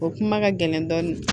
O kuma ka gɛlɛn dɔɔnin